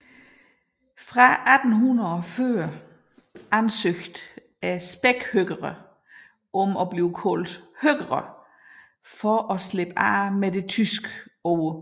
Fra 1840 ansøgte spækhøkerne om at blive kaldt høker for at slippe af med det tyske ord